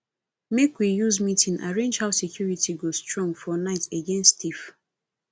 make we use meeting arrange how security go strong for night against thief